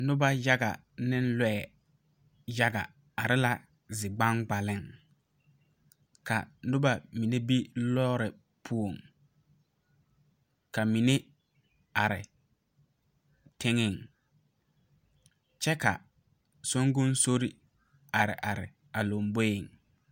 Nuba yaga ne lɔɛ yaga arẽ la zigbangbalen ka nuba mene be loɔre pou ka mene arẽ tenga kye ka sunkonsori arẽ arẽ a lɔmboɛ.